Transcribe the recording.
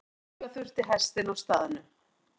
Aflífa þurfti hestinn á staðnum.